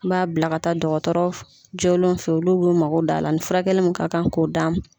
N b'a bila ka taa dɔgɔtɔrɔ f jɔlen fɛ olu b'u mako d'a la ani furakɛli min ka kan ko da